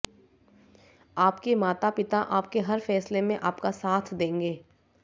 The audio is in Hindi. आपके माता पिता आपके हर फैसले में आपका साथ देंगे